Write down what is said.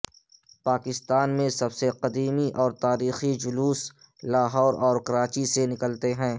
پاکستان میں سب سے قدیمی اور تاریخی جلوس لاہور اور کراچی سے نکلتے ہیں